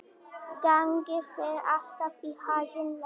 Gangi þér allt í haginn, Leif.